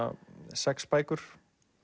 sex bækur